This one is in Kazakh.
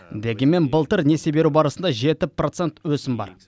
дегенмен былтыр несие беру барысында жеті процент өсім бар